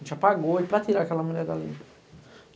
A gente apagou e para tirar aquela mulher dali.